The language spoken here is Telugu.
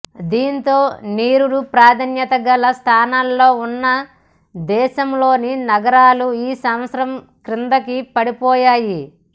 దీంతో నిరుడు ప్రాధాన్యత గల స్థానాల్లో ఉన్న దేశంలోని నగరాలు ఈ సంవత్సరం కిందికి పడిపోయాయి